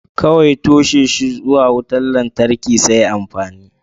Kawai toshe shi zuwa wutar lantarki sai amfani.